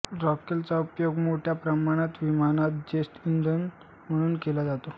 रॉकेलचा उपयोग मोठ्या प्रमाणात विमानात जेट इंधन म्हणून केला जातो